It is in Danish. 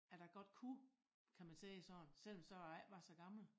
At jeg godt kunne kan man sige det sådan selv så jeg ikke var så gammel